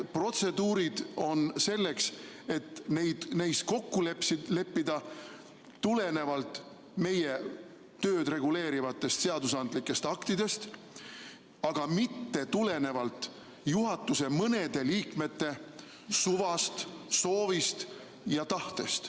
Protseduurid on selleks, et neis kokku leppida tulenevalt meie tööd reguleerivatest seadusandlikest aktidest, aga mitte tulenevalt juhatuse mõne liikme suvast, soovist ja tahtest.